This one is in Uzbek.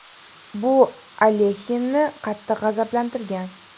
Bu Alexinni qattiq g‘azablantirgan.